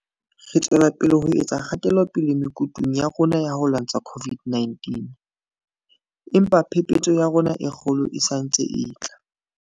Re tswela pele ho etsa kgatelopele mekutung ya rona ya ho lwantsha COVID 19, empa phephetso ya rona e kgolo e santse e tla.